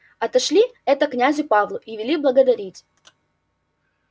отошли это князю павлу и вели благодарить